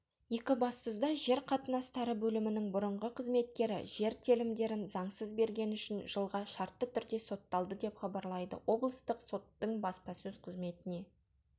екібастұзда жер қатынастары бөлімінің бұрынғы қызметкері жер телімдерін заңсыз бергені үшін жылға шартты түрде сотталды деп хабарлайды облыстық соттың баспасөз қызметіне